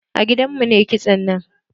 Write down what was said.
A gidan mu na yi kitson nan.